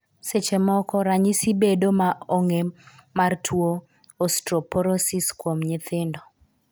Seche moko ,ranyisi bedo ma ong'e mar tuo Osteoporosis kuom nyithindo.